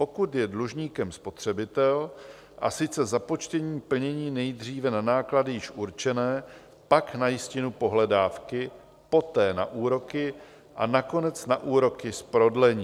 Pokud je dlužníkem spotřebitel, a sice započtením plnění nejdříve na náklady již určené, pak na jistinu pohledávky, poté na úroky a nakonec na úroky z prodlení.